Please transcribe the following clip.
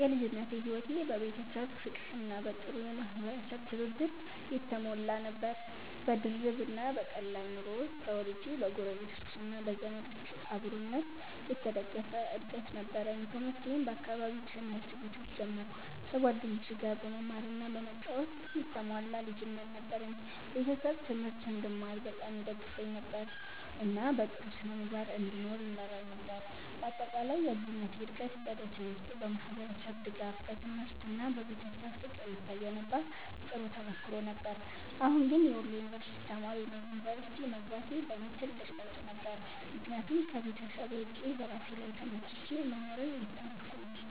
የልጅነቴ ሕይወት በቤተሰብ ፍቅርና በጥሩ የማህበረሰብ ትብብር የተሞላ ነበር። በድርብ እና በቀላል ኑሮ ውስጥ ተወልጄ በጎረቤቶች እና በዘመዶች አብሮነት የተደገፈ እድገት ነበረኝ። ትምህርቴን በአካባቢው ትምህርት ቤቶች ጀመርኩ፣ ከጓደኞቼ ጋር በመማር እና በመጫወት የተሞላ ልጅነት ነበረኝ። ቤተሰቤ ትምህርት እንድማር በጣም ይደግፉኝ ነበር፣ እና በጥሩ ስነ-ምግባር እንድኖር ይመራኝ ነበር። በአጠቃላይ የልጅነቴ እድገት በ ደሴ ውስጥ በማህበረሰብ ድጋፍ፣ በትምህርት እና በቤተሰብ ፍቅር የተገነባ ጥሩ ተሞክሮ ነበር። አሁን ግን የወሎ ዩንቨርስቲ ተማሪ ነኝ። ዩኒቨርሲቲ መግባቴ ለእኔ ትልቅ ለውጥ ነበር፣ ምክንያቱም ከቤተሰብ ርቄ በራሴ ላይ ተመስርቼ መኖርን እየተማርኩ ነው።